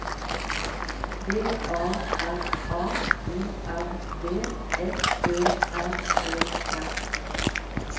V A R A O R D F Ø R E R